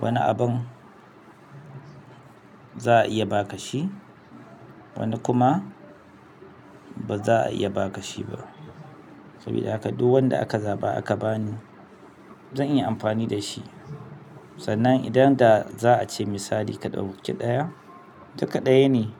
wani abun za a iya ba ka shi, wani kuma ba za a iya ba ka shi ba. Sabida haka duk wanda aka zaɓa aka bani zan iya amfani da shi. Sannan idan da zaa ce misali ka ɗauki ɗaya duk ɗaya ne.